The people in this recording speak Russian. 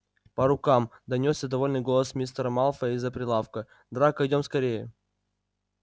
по рукам донёсся довольный голос мистера малфоя из-за прилавка драко идём скорее